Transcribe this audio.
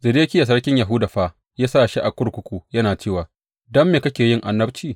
Zedekiya sarkin Yahuda fa ya sa shi a kurkuku yana cewa, Don me kake yin annabci?